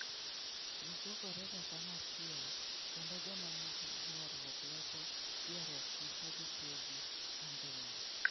Ji chokorega kanyachiel, kendo joma nigi ywaruok loso ywaruokgi ka gitiyo gi adhong'.